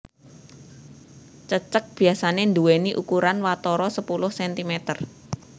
Cecek biasané nduwèni ukuran watara sepuluh sentimeter